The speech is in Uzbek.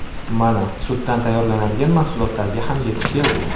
Mana, sutdan tayyorlanadigan mahsulotlarga ham yetib keldik.